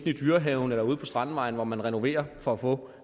i dyrehaven eller ude på strandvejen hvor man renoverer for at få